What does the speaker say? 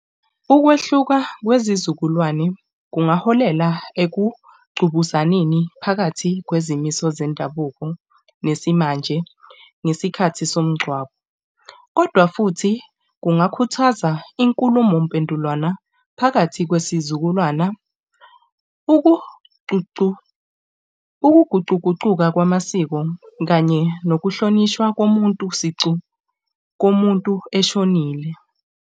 Ukwehluka kwezizukulwane kungaholela ekugqubuzaneni phakathi kwezimiso zendabuko nesimanje nesikhathi somngcwabo. Kodwa futhi kungakhuthaza inkulumo mpendulwana phakathi kwesizukulwana. Ukuguquguquka kwamasiko kanye nokuhlonishwa komuntu sicu, komuntu eshonile.